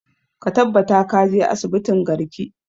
Ka tabbata ka je asibitin garki!